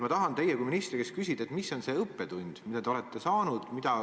Ma tahan teie kui ministri käest küsida, mis on see õppetund, mille te olete saanud.